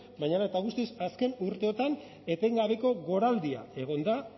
baina hala eta guztiz azken urteotan etengabeko goraldia egon da